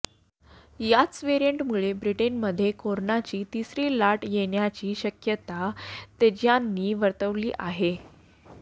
याच वेरिएंटमुळे ब्रिटनमध्ये करोनाची तिसरी लाट येण्याची शक्यता तज्ज्ञांनी वर्तवली आहे